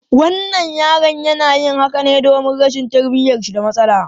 Wannan yaron yana yin haka domin rashin tarbiyyar shi da matsala.